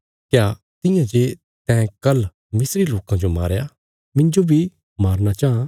क्या तियां जे तैं कल मिस्री लोकां जो मारया मिन्जो बी मारना चां